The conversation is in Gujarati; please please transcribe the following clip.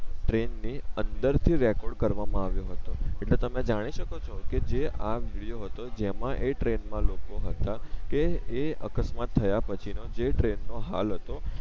ટ્રેન ને અંદર થી રેકોર્ડ કરવા માં આવિયો હતો એટલે તમે જાણી સકો છે કે જે આ વિડિયો હતો જેમાં એ ટ્રેન માં લોકો હતા કે એ અકસ્માત થયા પછી નો જે ટ્રેન નો હાલ હતો